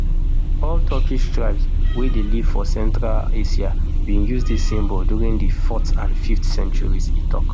all turkic tribes wey dey live for central asia bin use dis symbol during di fourth and fifth centuries e tok